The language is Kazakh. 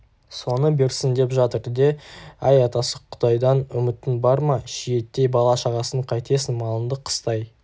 соны берсін деп жатыр де әй атасы құдайдан үмітің бар ма шиеттей бала-шағасын қайтесің малыңды қыстай